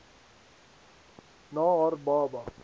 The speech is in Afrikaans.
na haar baba